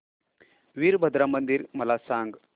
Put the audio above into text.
वीरभद्रा मंदिर मला सांग